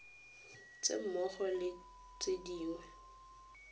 tse mmogo le tse dingwe